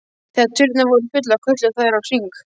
Þegar tunnurnar voru fullar kölluðu þær á HRING!